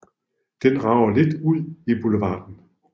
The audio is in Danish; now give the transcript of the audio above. Den rager lidt ud i boulevarden